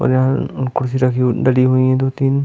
और यहाँ कुर्सी रखी हुई डली हुई है दो-तीन।